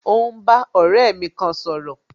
Mo ń bá ọ̀rẹ́ mi kan sọ̀rọ̀